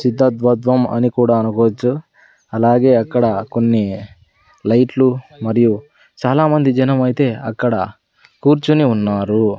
చిత్తత్వత్వం అని కూడా అనుకోవచ్చు అలాగే అక్కడ కొన్ని లైట్లు మరియు చాలామంది జనం అయితే అక్కడ కూర్చొని ఉన్నారు.